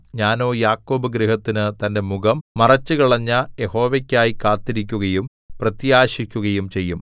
ഞാനോ യാക്കോബ് ഗൃഹത്തിന് തന്റെ മുഖം മറച്ചുകളഞ്ഞ യഹോവയ്ക്കായി കാത്തിരിക്കുകയും പ്രത്യാശിക്കുകയും ചെയ്യും